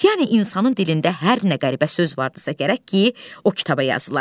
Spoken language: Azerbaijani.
Yəni insanın dilində hər nə qəribə söz vardısa gərək ki, o kitaba yazıla.